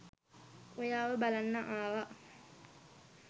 ඔයාව බලන්න ආවා.